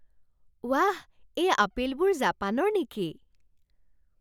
ৱাহ! এই আপেলবোৰ জাপানৰ নেকি?